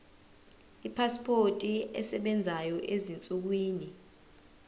ipasipoti esebenzayo ezinsukwini